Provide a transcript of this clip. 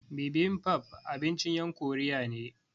Bibimbap abincin yan Koriya ne